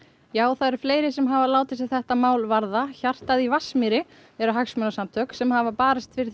það eru fleiri sem hafa látið þetta mál sig varða hjartað í Vatnsmýri eru hagsmunasamtök sem hafa barist fyrir